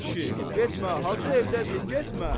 Ay kişi, getmə, Hacı evdədir, getmə.